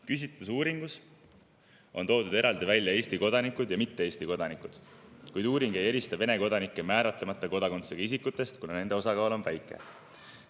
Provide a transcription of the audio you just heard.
Küsitlusuuringus on toodud eraldi välja Eesti kodanikud ja mitte Eesti kodanikud, kuid uuring ei erista Vene kodanikke määratlemata kodakondsusega isikutest, kuna nende osakaal on väike.